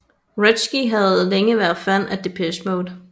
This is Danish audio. Wretzky havde længe været fan af Depeche Mode